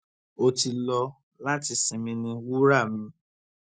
ó ti lọ láti sinmi ní wura mi